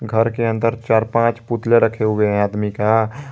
घर के अंदर चार पांच पुतले रखे हुए हैं आदमी का।